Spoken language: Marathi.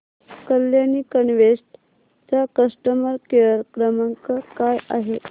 कल्याणी इन्वेस्ट चा कस्टमर केअर क्रमांक काय आहे